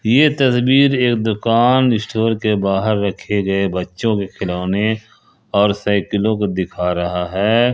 ये तस्वीर एक दुकान स्टोर के बाहर रखे गए बच्चों के खिलौने और साइकिलों को दिखा रहा है।